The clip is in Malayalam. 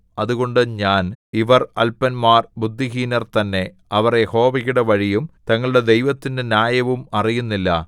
അതുകൊണ്ട് ഞാൻ ഇവർ അല്പന്മാർ ബുദ്ധിഹീനർ തന്നെ അവർ യഹോവയുടെ വഴിയും തങ്ങളുടെ ദൈവത്തിന്റെ ന്യായവും അറിയുന്നില്ല